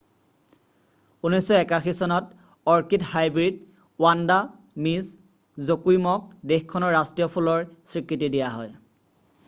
1981 চনত orchid hybrid Vanda Miss জকুইমক দেশখনৰ ৰাষ্ট্ৰীয় ফুলৰ স্বীকৃতি দিয়া হয়